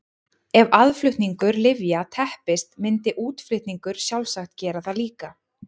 Ef aðflutningur lyfja teppist myndi útflutningur sjálfsagt gera það líka.